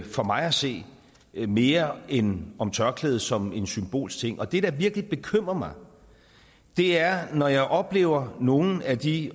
for mig at se mere end om tørklædet som en symbolsk ting og det der virkelig bekymrer mig er når jeg oplever at nogle af de